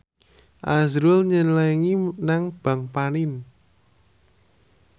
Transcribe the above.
azrul nyelengi nang bank panin